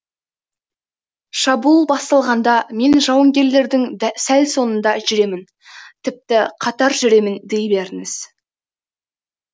шабуыл басталғанда мен жауынгерлердің сәл соңында жүремін тіпті қатар жүремін дей беріңіз